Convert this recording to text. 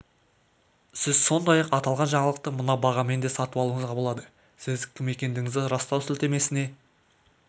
сіз сондай-ақ аталған жаңалықты мына бағамен де сатып алуыңызға болады сіз кім екендігіңізді растау сілтемесіне